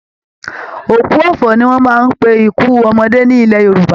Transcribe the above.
Òkú ọ̀fọ̀ ni wọ́n máa ń pe ikú ọmọdé ní ilẹ̀ Yorùbá